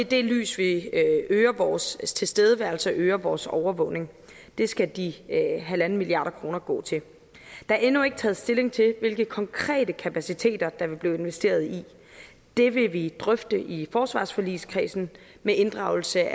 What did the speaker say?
det lys vi øger vores tilstedeværelse og øger vores overvågning det skal de en milliard kroner gå til der er endnu ikke taget stilling til hvilke konkrete kapaciteter der vil blive investeret i det vil vi drøfte i forsvarsforligskredsen med inddragelse af